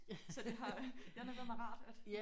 Så det har ja nok været meget rart at